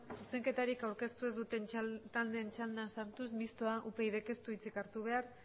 zuzenketarik aurkeztu ez duten taldeen txandan sartuz mistoa upydk ez du hitzik hartu behar